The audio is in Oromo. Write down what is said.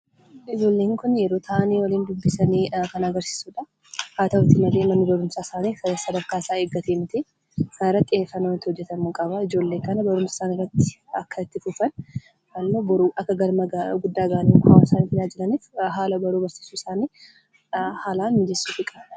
Ijooleen kun yeroo ta'an waliin dubbisan kan agarsiisudha. Haa ta'u malee manni barumsaa isaani kan sadarkaa isaani eeggatee miti. Kana irratti xiyyefannoon hojeetamu qaba. Ijoolee kana baruumsa isanitti akka itti fufaan yookaan ammoo boruu akka galma guddaa gahaani hawasaa isaani tajajilaaniif haala baruufi barsisuu isaani haalan mijessuufi qabu.